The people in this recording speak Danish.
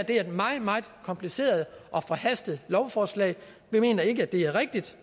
et meget meget kompliceret og forhastet lovforslag vi mener ikke det er rigtigt